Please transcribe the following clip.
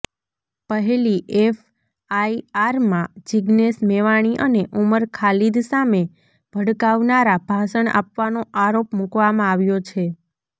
પહેલી એફઆઈઆરમાં જિગ્નેશ મેવાણી અને ઉમર ખાલીદ સામે ભડકાવનારા ભાષણ આપવાનો આરોપ મૂકવામાં આવ્યો છે